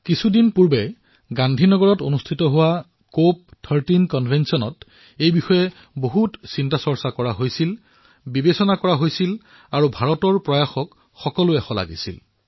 কিছুদিন পূৰ্বে গান্ধী নগৰত কপ 13 কনভেনশ্যন অনুষ্ঠিত হল যত এই বিষয়টো সন্দৰ্ভত বহু আলোচনা কৰা হল মন্থনো কৰা হল আৰু ভাৰতৰ প্ৰয়াসক বিভিন্ন জনে প্ৰশংসাও কৰিলে